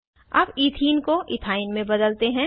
अब इथीन को इथाइन में बदलते हैं